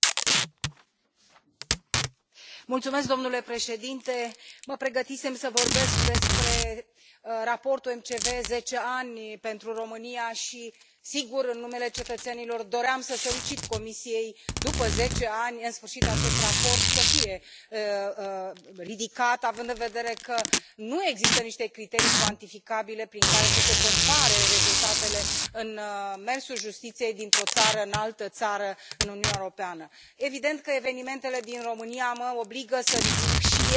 Domnule președinte, mă pregătisem să vorbesc despre Raportul MCV zece ani pentru România și, sigur, în numele cetățenilor doream să solicit Comisiei, după zece ani, în sfârșit, ca acest raport, să fie ridicat având în vedere că nu există niște criterii cuantificabile prin care să se compare rezultatele în mersul justiției dintr o țară în altă țară în Uniunea Europeană. Evident că evenimentele din România mă obligă să ridic și eu această problemă, dar o voi ridica prin